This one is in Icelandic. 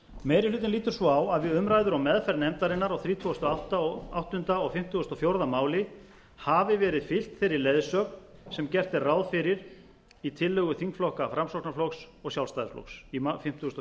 meiri hlutinn lítur svo á að við umræður og meðferð nefndarinnar á þrítugasta og áttunda og fimmtugasta og fjórða máli hafi verið fylgt þeirri leiðsögn sem gert er ráð fyrir í tillögu þingflokka framsóknarflokks og sjálfstæðisflokks í fimmtugasta og